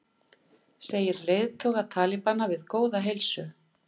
Segir leiðtoga talibana við góða heilsu